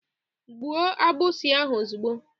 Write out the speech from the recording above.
Gbuo agbụsi ahụ ozugbo!